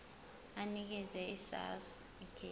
anikeze isars ikheli